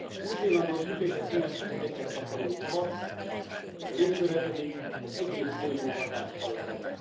Új Zélandon sötétre színezte a hegyeket takaró havat, a légkörre pedig az egész bolygón hatással lehet.